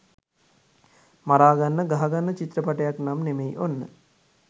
මරාගන්න ගහගන්න චිත්‍රපටයක් නම් නෙමෙයි ඔන්න.